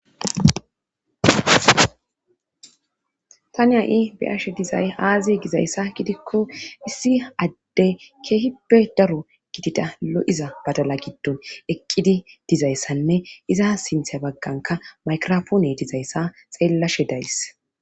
tani ha7i beyashe dizay aaziye gizayssa gidikko issi adde keehippe daro gidida lo7iza badala giddon eqqidi dizayssanne iza sinthe bagganka maykrofoone dizayssa xeellashe days